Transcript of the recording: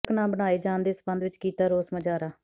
ਸੜਕ ਨਾ ਬਣਾਏ ਜਾਣ ਦੇ ਸਬੰਧ ਵਿਚ ਕੀਤਾ ਰੋਸ ਮੁਜ਼ਾਹਰਾ